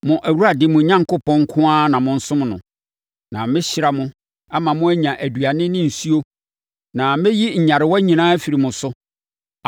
Mo Awurade, mo Onyankopɔn nko ara na monsom no. Na mɛhyira mo ama mo anya aduane ne nsuo na mɛyi nyarewa nyinaa afiri mo so.